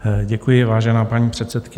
Děkuji, vážená paní předsedkyně.